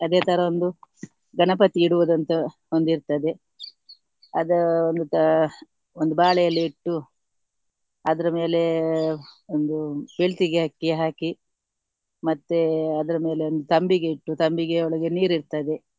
ಅದೇ ತರ ಒಂದು ಗಣಪತಿ ಇಡುವುದು ಅಂತ ಒಂದ್ ಇರ್ತದೆ. ಅದು ಒಂದು ಬಾಳೆ ಎಲೆ ಇಟ್ಟು ಅದ್ರ ಮೇಲೆ ಒಂದು ಬೆಳ್ತಿಗೆ ಅಕ್ಕಿ ಹಾಕಿ ಮತ್ತೆ ಅದ್ರ ಮೇಲೆ ಒಂದು ತಂಬಿಗೆ ಇಟ್ಟು ತಂಬಿಗೆ ಒಳಗೆ ನೀರು ಇರ್ತದೆ.